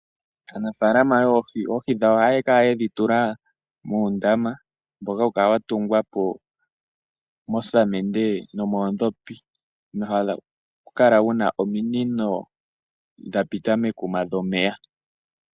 Aanafaalama yoohi oohi dhawo ohaya kala yedhi tula muundama, mboka hau kala wa tungwa po mosamende nomoondhopi, nohawu kala wu na ominino dha pita mekuma dhomeya.